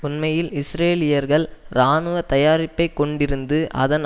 உண்மையில் இஸ்ரேலியர்கள் இராணுவ தயாரிப்பை கொண்டிருந்து அதன்